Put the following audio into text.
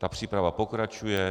Ta příprava pokračuje.